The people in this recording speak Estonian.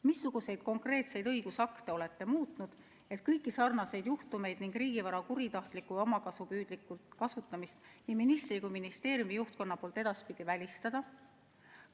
Missuguseid konkreetseid õigusakte olete muutnud, et kõiki seesuguseid juhtumeid ning riigivara kuritahtlikku ja omakasupüüdlikku kasutamist nii ministri kui ka ministeeriumi juhtkonna poolt edaspidi välistada?